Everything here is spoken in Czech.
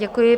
Děkuji.